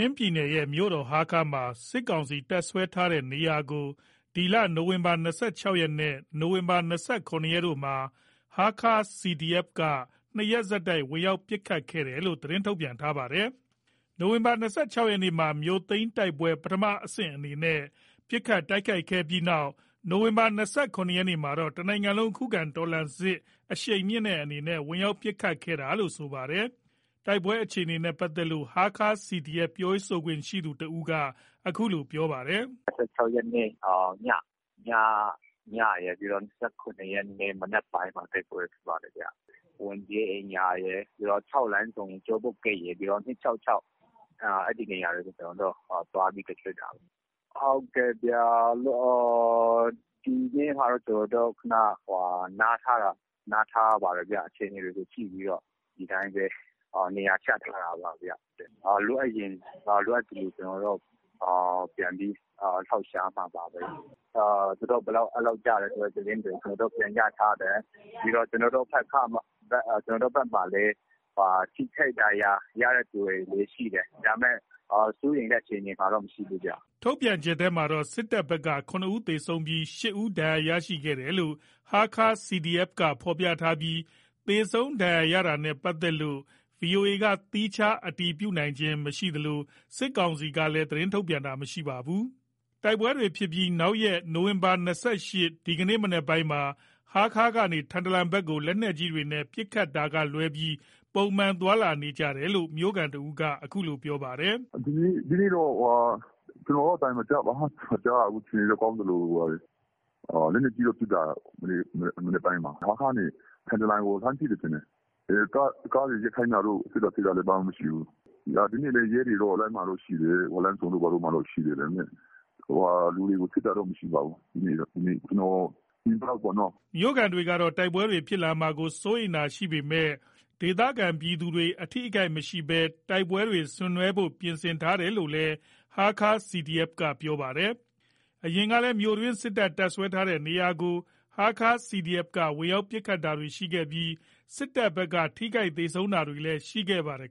င်းပြည်နယ်ရဲ့ မြို့တော် ဟားခါးမြို့မှာ စစ်ကောင်စီ တပ်စွဲထားတဲ့နေရာတွေကို နိုဝင်ဘာ ၂၆ ရက်နဲ့ နိုဝင်ဘာ ၂၇ ရက်တို့မှာ ဟားခါး CDFက ၂ ရက်ဆက်တိုက် ဝင်ရောက်ပစ်ခတ်ခဲ့တယ်လို့ သတင်းထုတ်ပြန် ထားတာပါ။ နိုဝင်ဘာ ၂၆ ရက်မှာ မြို့သိမ်းတိုက်ပွဲ ပထမအဆင့်အနေနဲ့ ပစ်ခတ်ခဲ့ပြီးနောက် နိုဝင်ဘာ ၂၇ ရက်မှာတော့ တနိုင်ငံလုံး ခုခံတော်လှန်စစ် အရှိန်မြှင့်တဲ့အနေနဲ့ ဝင်ရောက်ပစ်ခတ်တာလို့လည်း ဆိုပါတယ်။ တိုက်ပွဲအခြေအနေနဲ့ ပတ်သက်လို့ ဟားခါး CDF ပြောရေးဆိုခွင့်ရှိသူ တဦးက အခုလို ပြောပါတယ်။ “၂၆ ရက်နေ့ညရယ်၊ ပြီးတော့ ၂၇ ရက်နေ့ မနက်ပိုင်းမှာရယ် တိုက်ပွဲဖြစ်ပါတယ်ခင်ဗျ။ ၆ လမ်းဆုံ ကျောပုတ်ဂိတ်ရယ် ၂၆၆ ရယ် အဲ့ဒီ့နေရာတွေကို ကျွန်တော်တို့ သွားပြီး တိုက်ခိုက်တာပေါ့။ ဒီနေ့ကတော့ ကျွန်တော်တို့ ခဏနားထားတာ၊ နားထားပါတယ်။ အခြေအနေတွေကို ကြည့်ပြီးတော့ ဒီတိုင်းပဲ နေရာချထားတာပါ။ လိုအပ်ရင် လိုအပ်သလို ပြန်ပြီး လှုပ်ရှားမှာပါ။ သူတို့ဘက်က ကျတဲ့သတင်းတွေ ပြန်ရထားတယ်။ ကျွန်တော်တို့ဘက်မှာလည်း ထိခိုက် ဒဏ်ရာရတဲ့သူတွေလည်း ရှိတယ်။ ဒါပေမယ့် စိုးရိမ်ရတဲ့ အခြေအနေမှာတော့ မရှိဘူးခင်ဗျ။” ထုတ်ပြန်ချက်ထဲမှာတော့ စစ်တပ်ဘက်က ၇ ဦးသေဆုံးပြီး ၈ ဦး ဒဏ်ရာရရှိခဲ့တယ်လို့ ဟားခါး CDF က ဖော်ပြထားပြီး သေဆုံးဒဏ်ရာရတာနဲ့ ပတ်သက်လို့ ဗွီအိုအေက သီးခြား အတည်မပြုနိုင်သေးသလို စစ်ကောင်စီကလည်း သတင်းထုတ်ပြန်တာ မရှိပါဘူး။ တိုက်ပွဲတွေဖြစ်ပြီးနောက်ရက် နိုဝင်ဘာ ၂၈ ရက် ဒီနေ့ မနက်ပိုင်းမှာ ဟားခါးမြို့ကနေ ထန်တလန်မြို့ဘက်ကို လက်နက်ကြီးတွေနဲ့ ပစ်ခတ်တာကလွဲပြီး ပုံမှန် သွားလာနေကြတယ်လို့ မြို့ခံတဦးက အခုလို ပြောပါတယ်။ “ဒီနေ့တော့ ကျွန်တော်တော့ အသံတော့ မကြားရဘူး၊ အခြေအနေတော့ ကောင်းသလိုလိုပါပဲ။ လက်နက်ကြီးတော့ ပစ်တယ်။ မနက်ပိုင်းမှာ ဟားခါးကနေ ထန်တလန်ကို ပစ်တယ်ထင်တယ်။ ကားတွေ ရပ်ခိုင်းတာတို့၊ စစ်တာဆေးတာတို့ ဘာမှတော့မရှိဘူး။ ဒီနေ့တော့ ရဲတွေတော့ လမ်းမှာတော့ ရှိတယ်။ လမ်းဆုံတို့ ဘာတို့မှာတော့ ရှိတယ်။ လူတွေကို စစ်တာဆေးတာတော့ မရှိပါဘူး။ ကျွန်တော် မြင်သလောက်ပေါ့နော်။” မြို့ခံတွေကတော့ တိုက်ပွဲတွေဖြစ်လာမှာကို စိုးရိမ်တာတွေရှိပေမဲ့ ဒေသခံပြည်သူတွေ အထိအခိုက်မရှိဘဲ တိုက်ပွဲတွေဆင်နွှဲဖို့ ပြင်ဆင်ထားတယ်လို့လည်း ဟားခါး CDF က ပြောပါတယ်။ အရင်ကလည်း မြို့တွင်း စစ်တပ် တပ်စွဲထားတဲ့နေရာကို ဟားခါး CDF က ဝင်ရောက် ပစ်ခတ်တာတွေရှိခဲ့ပြီး စစ်တပ်ဘက်က ထိခိုက် သေဆုံးတာတွေလည်း ရှိခဲ့ပါတယ်